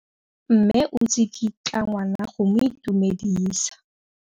Mme o tsikitla ngwana go mo itumedisa.